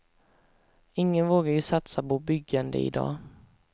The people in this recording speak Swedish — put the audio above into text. Ingen vågar ju satsa på byggande i dag.